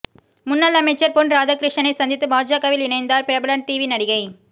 முன்னாள் அமைச்சர் பொன் ராதாகிருஷ்ணனை சந்தித்து பாஜகவில் இணைந்தார் பிரபல டிவி நடிகை